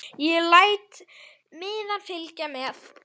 Ég læt miðann fylgja með.